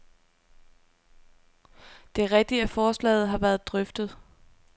Det er rigtigt, at forslaget har været drøftet.